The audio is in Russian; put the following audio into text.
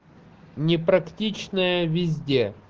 непрактичная везде